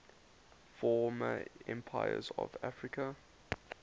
former empires of africa